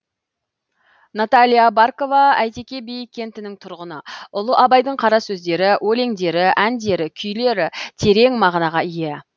наталия баркова әйтеке би кентінің тұрғыны ұлы абайдың қара сөздері өлеңдері әндері күйлері терең мағынаға ие